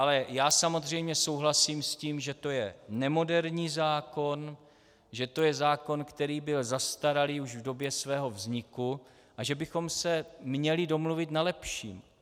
Ale já samozřejmě souhlasím s tím, že to je nemoderní zákon, že to je zákon, který byl zastaralý už v době svého vzniku, a že bychom se měli domluvit na lepším.